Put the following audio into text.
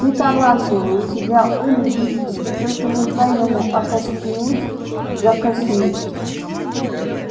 ты талантливый у тебя ум гибкий ты только не дай ему окостенеть закоснеть